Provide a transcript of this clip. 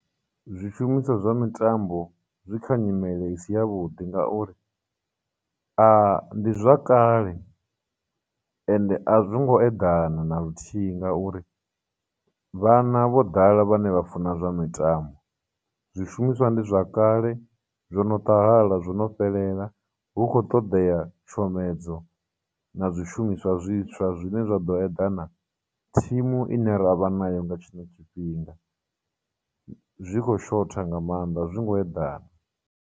Zwishumiswa zwa mitambo zwi kha nyimele i si ya vhuḓi ngauri, , ndi zwa kale ende a zwi ngo eḓana na luthihi ngauri vhana vho ḓala vhane vha funa zwa mitambo, zwishumiswa ndi zwa kale, zwono ṱahala, zwo no fhelela, hu khou ṱoḓea tshomedzo na zwishumiswa zwiswa zwine zwa ḓo eḓana thimu ine ra vha nayo nga tshino tshifhinga. Zwi khou shotha nga maanḓa, a zwi ngo eḓana.